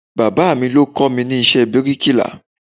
Bàbáà mi ló kọ́ mi ní iṣẹ́ bíríkìlà.